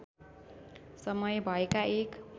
समय भएका एक